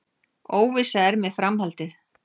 Óvissa er með framhaldið